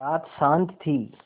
रात शान्त थी